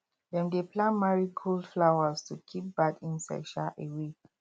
dem dey plant marigold flowers to keep bad insects um away